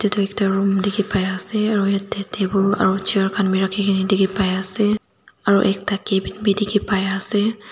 itu ekta room dikhipai ase aru yetey table aru chair khan bi rakhikena dikhi pai ase aru ekta cabin bi dikhi pai ase.